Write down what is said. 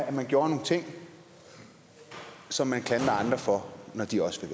at man gjorde nogle ting som man klandrer andre for når de også